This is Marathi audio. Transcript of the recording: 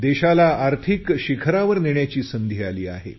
देशाला आर्थिक शिखरावर नेण्याची संधी आली आहे